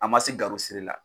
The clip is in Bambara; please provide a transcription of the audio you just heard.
A ma se siri la.